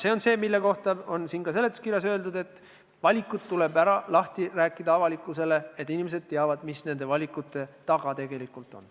See on see, mille kohta on ka siin seletuskirjas öeldud, et valikud tuleb avalikkusele lahti rääkida, et inimesed teaksid, mis nende valikute taga tegelikult on.